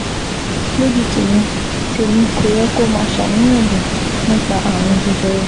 Lójú tèmi, tèmi, kò yẹ kó o máa ṣàníyàn jù nípa ààrùn jẹjẹrẹ